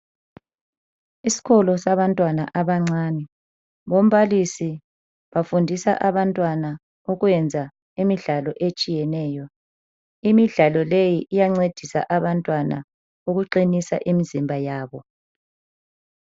Isikolo sabantwana abancane. Bombalisi bafundisa abantwana ukwenza imidlalo etshiyeneyo. Imidlalo leyi iyancedisa abantwana ukuqinisa imizimba yabo.